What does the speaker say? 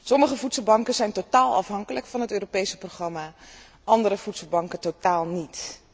Sommige voedselbanken zijn totaal afhankelijk van het Europese programma, andere voedselbanken totaal niet.